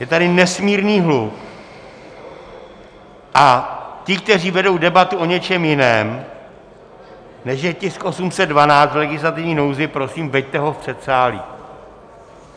Je tady nesmírný hluk a ti, kteří vedou debatu o něčem jiném, než je tisk 812 v legislativní nouzi, prosím, veďte ho v předsálí.